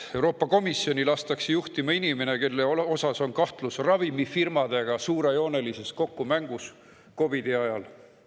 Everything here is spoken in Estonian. Euroopa Komisjoni lastakse juhtima inimene, kelle suhtes on üleval kahtlus suurejoonelises kokkumängus ravimifirmadega COVID‑i ajal.